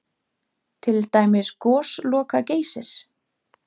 Til dæmis Gosloka-Geysir?